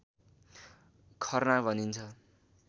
खर्ना भनिन्छ